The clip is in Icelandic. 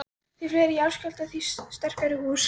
Því fleiri jarðskjálftar, því sterkari hús.